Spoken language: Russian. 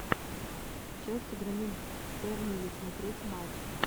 челси громит бернли смотреть матч